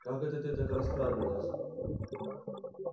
как это ты так расхрабрилась